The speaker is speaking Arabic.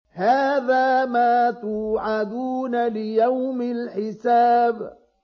هَٰذَا مَا تُوعَدُونَ لِيَوْمِ الْحِسَابِ